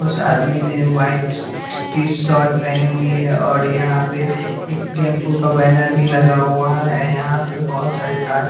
उस आदमी ने वाइट टीशॉर्ट पहनी हुई है और यहाँ पे एक टेंपू का बैनर भी लगा हुआ है यहाँ पे बहुत सारे तार --